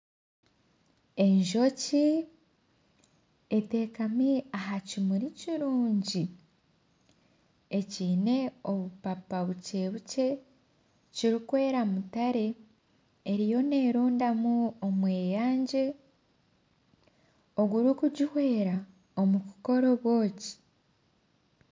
Enjoki etekami aha kimuri kurungi ekiine obupapa bukye bukye kirikweera mutare eriyo nerondamu omweyangye ogurikuguhwera omu kukora obwoki.